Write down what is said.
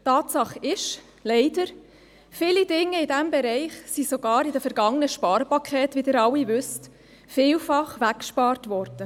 Tatsache ist leider, dass viele Dinge in diesem Bereich sogar in den vergangenen Sparpaketen weggespart wurden, wie Sie alle wissen.